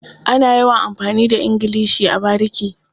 Ana yawan amfani da ingilishi a bariki.